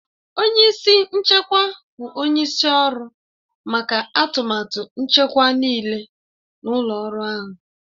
Onye isi nchekwa bụ onye isi ọrụ maka atụmatụ nchekwa nịịle n'ụlọ ọrụ ahụ.